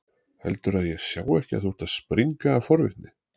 Heldurðu að ég sjái ekki að þú ert að springa af forvitni?